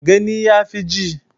Gani ya fi ji